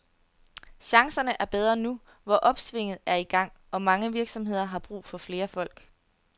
Chancerne er bedre nu, hvor opsvinget er i gang, og mange virksomheder har brug for flere folk.